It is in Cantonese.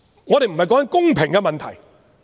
我們不是在談公平的問題。